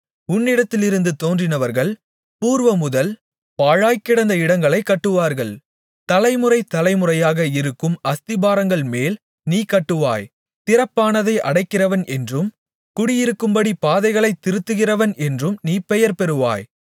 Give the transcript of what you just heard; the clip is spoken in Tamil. உன்னிடத்திலிருந்து தோன்றினவர்கள் பூர்வமுதல் பாழாய்க்கிடந்த இடங்களைக் கட்டுவார்கள் தலைமுறை தலைமுறையாக இருக்கும் அஸ்திபாரங்கள்மேல் நீ கட்டுவாய் திறப்பானதை அடைக்கிறவன் என்றும் குடியிருக்கும்படி பாதைகளைத் திருத்துகிறவன் என்றும் நீ பெயர் பெறுவாய்